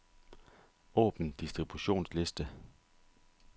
Åbn distributionsliste.